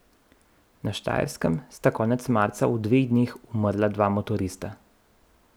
Na Štajerskem sta konec marca v dveh dneh umrla dva motorista.